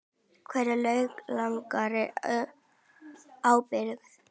Hver er lagaleg ábyrgð?